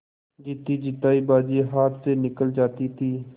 जीतीजितायी बाजी हाथ से निकली जाती थी